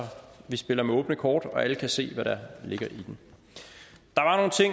vi spiller med åbne kort og alle kan se hvad der ligger i dem